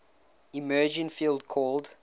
emerging field called